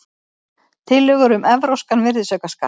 Tillögur um evrópskan virðisaukaskatt